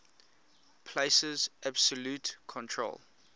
places absolute control